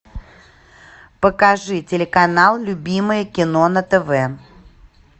покажи телеканал любимое кино на тв